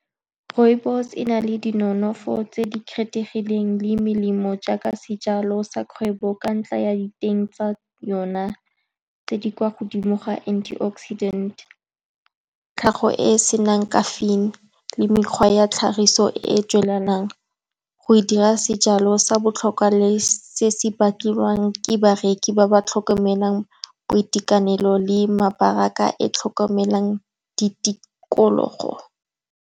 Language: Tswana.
Rooibos-e e na le dinonofo tse di kgethegileng le melemo, jaaka sejalo sa kgwebo, ka ntlha ya diteng tsa yone tse di kwa godimo ga antioxidant, tlhago e e senang caffeine, le mekgwa ya tlhagiso e e tswelelang go e dira sejalo sa botlhokwa le se se batliwang ke bareki ba ba tlhokomelang boitekanelo le mabaraka a e e tlhokomelang ditikologo.